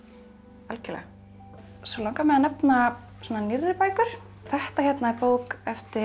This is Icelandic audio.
algjörlega svo langar mig að nefna svona nýrri bækur þetta er bók eftir